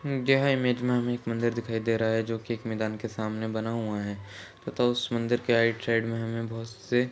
यह इमेज में हमें एक मंदिर दिखाई दे रहा है जो कि एक मैदान के सामने बना हुआ है तथा उस मंदिर के राइट साइड में हमें बहोत से--